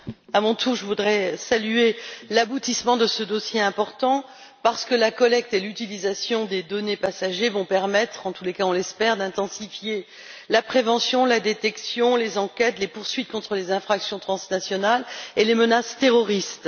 Monsieur le Président, à mon tour, je voudrais saluer l'aboutissement de ce dossier important, parce que la collecte et l'utilisation des données des passagers vont permettre, ou du moins, on l'espère, d'intensifier la prévention, la détection, les enquêtes ainsi que les poursuites contre les infractions transnationales et les menaces terroristes.